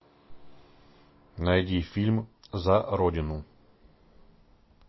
найди фильм за родину